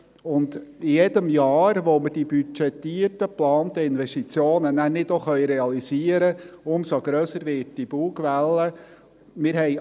Mit jedem Jahr, in dem wir die budgetierten, geplanten Investitionen nicht realisieren können, wird die Bugwelle umso grösser.